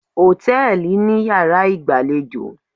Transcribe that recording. ̣Hòtẹ́ẹ̀lì ni yàrá ìgbàlejò